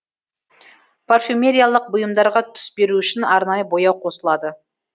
парфюмериялық бұйымдарға түс беру үшін арнайы бояу қосылады